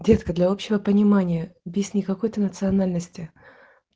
детская для общего понимания песни какой ты национальности